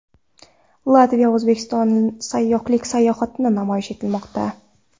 Latviyada O‘zbekiston sayyohlik salohiyati namoyish etilmoqda.